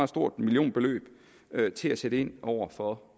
stort millionbeløb af til at sætte ind over for